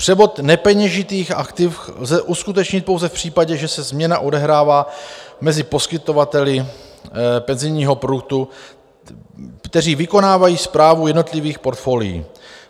Převod nepeněžitých aktiv lze uskutečnit pouze v případě, že se změna odehrává mezi poskytovateli penzijního produktu, kteří vykonávají správu jednotlivých portfolií.